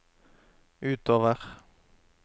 utover